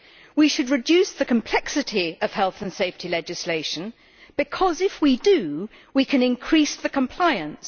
We should reduce the complexity of health and safety legislation, because if we do, we can increase compliance.